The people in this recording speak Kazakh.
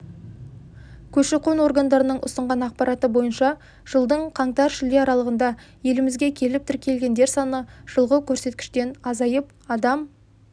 көші-қон органдарының ұсынған ақпараты бойынша жылдың қаңтар-шілде аралығында елімізге келіп тіркелгендер саны жылғы көрсеткіштен азайып адам